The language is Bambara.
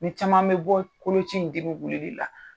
Ni caman bi bɔ koloci in dimi wulili la.